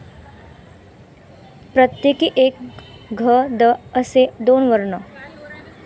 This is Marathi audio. प्रत्येकी एक घ, द, असे दोन वर्ण.